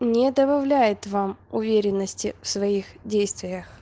не добавляет вам уверенности в своих действиях